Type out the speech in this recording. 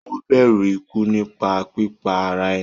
Ó bẹ̀rù ikú nípa pípa ara ẹni.